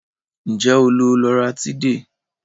Nje o lo loratiday?